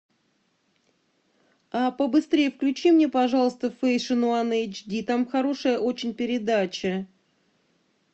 побыстрее включи мне пожалуйста фэшн уан эйч ди там хорошая очень передача